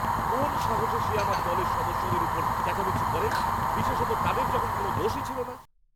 কোন সাহসে সে আমার দলের সদস্যদের উপর চেঁচামেচি করে, বিশেষত তাদের যখন কোনও দোষই ছিল না!